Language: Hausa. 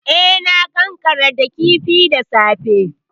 E, na ƙanƙarar da kifin da safe.